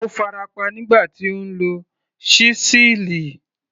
Ó farapa nígbà tí ó ń lo ṣísẹ́ẹ̀lì.